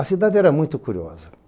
A cidade era muito curiosa.